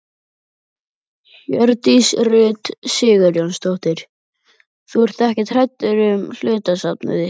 Hjördís Rut Sigurjónsdóttir: Þú ert ekkert hræddur um hlutastarfið þitt?